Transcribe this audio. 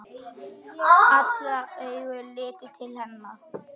Allra augu litu til hennar.